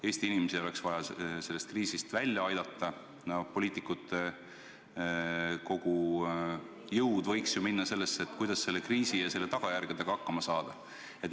Eesti inimesi oleks vaja sellest kriisist välja aidata, poliitikute kogu jõud võiks minna sellesse, kuidas kriisi ja selle tagajärgedega hakkama saada.